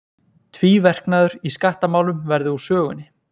Tvíverknaður í skattamálum verði úr sögunni